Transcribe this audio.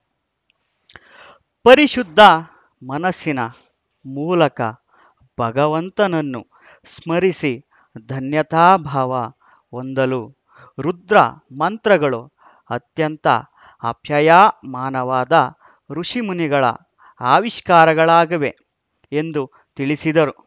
ಪರಿಶುದ್ಧ ಮನಸ್ಸಿನ ಮೂಲಕ ಭಗವಂತನನ್ನು ಸ್ಮರಿಸಿ ಧನ್ಯತಾಭಾವ ಹೊಂದಲು ರುದ್ರಮಂತ್ರಗಳು ಅತ್ಯಂತ ಆಪ್ಯಾಯಮಾನವಾದ ಖುಷಿಮುನಿಗಳ ಆವಿಷ್ಕಾರಗಳಾಗಿವೆ ಎಂದು ತಿಳಿಸಿದರು